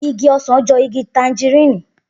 Igi ọsàn jọ igi tanjirini